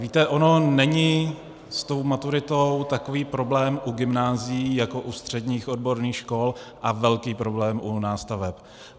Víte, ono není s tou maturitou takový problém u gymnázií jako u středních odborných škol a velký problém u nástaveb.